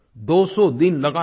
दोसौ दिन लगातार